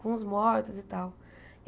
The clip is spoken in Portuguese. com os mortos e tal.